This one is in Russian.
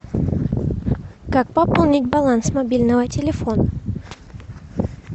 как пополнить баланс мобильного телефона